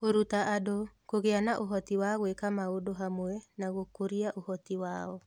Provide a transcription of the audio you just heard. Kũruta andũ (kũgĩa na ũhoti wa gwĩka maũndũ hamwe na gũkũria ũhoti wao)